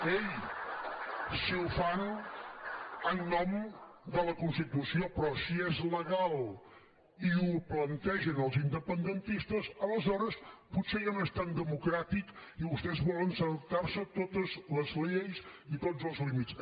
ei si ho fan en nom de la constitució però si és legal i ho plantegen els independentistes aleshores potser ja no és tan democràtic i vostès volen saltar se totes les lleis i tots els límits